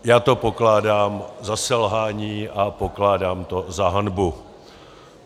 Já to pokládám za selhání a pokládám to za hanbu.